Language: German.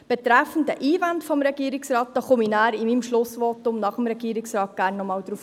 Auf die Einwände des Regierungsrats komme ich in meinem Schlussvotum gerne noch einmal zurück.